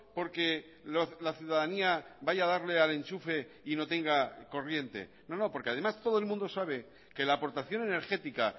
porque la ciudadanía vaya a darle al enchufe y no tenga corriente no no porque además todo el mundo sabe que la aportación energética